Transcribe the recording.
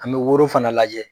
An me woro fana lajɛ.